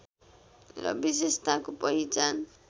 र विशेषताको पहिचान